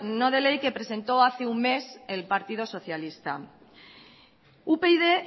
no de ley que presentó hace un mes el partido socialista upyd